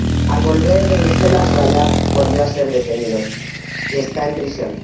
Al volver de Bruselas, Rajab volvió a ser detenido y está en prisión.